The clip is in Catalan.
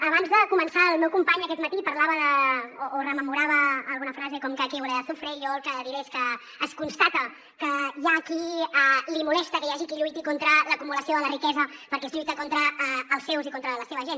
abans de començar el meu company aquest matí parlava de o rememorava alguna frase com que aquí huele a azufre i jo el que diré és que es constata que hi ha a qui li molesta que hi hagi qui lluiti contra l’acumulació de la riquesa perquè es lluita contra els seus i contra la seva gent